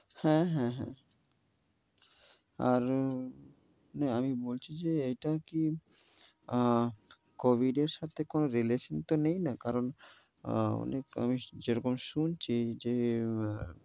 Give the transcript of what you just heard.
হ্যাঁ হ্যাঁ হ্যাঁ, আর আমি বলছি যে, এটাকি অ্যা covid সাথে কোনো relation তো নেই না? কারণ অ্যা আনেক আমি যেরকম শুনছি যে